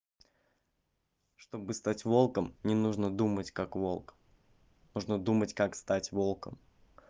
чтобы стать волком не нужно думать как волк нужно думать как стать волком